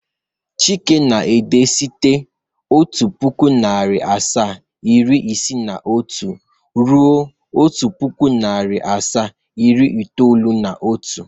Chike na-ede site otu pụkụ, narị asaa, iri isii na otu ruo otu pụkụ, narị asaa, iri itoolu na otu